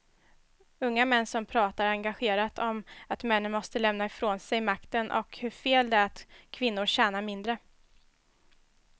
Unga män som pratar engagerat om att männen måste lämna ifrån sig makten och hur fel det är att kvinnor tjänar mindre.